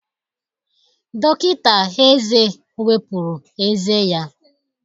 Dọkịta eze wepụrụ ezé ya